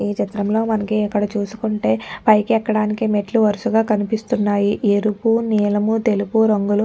ఈ చిత్రంలో మనకి ఇక్కడ చూసుకుంటే పైకి ఎక్కడానికి మెట్లు వరుసగా కనిపిస్తున్నాయి ఎరుపు నీలము తెలుపు రంగులు.